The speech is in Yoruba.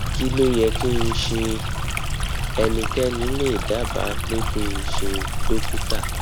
kí ló yẹ kí n ṣe ṣé ẹnikẹni lè dábàá pé kí n ṣe dókítà